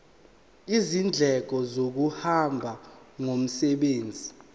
izindleko zokuhamba ngomsebenzi